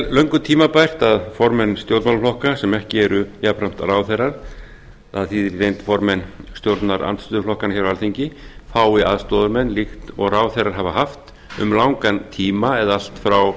löngu tímabært að formenn stjórnmálaflokka sem ekki eru jafnframt ráðherrar það þýðir í reynd formenn stjórnarandstöðuflokkanna hér á alþingi fái aðstoðarmenn líkt og ráðherrar hafa haft um langan tíma allt frá